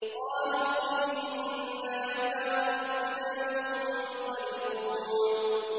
قَالُوا إِنَّا إِلَىٰ رَبِّنَا مُنقَلِبُونَ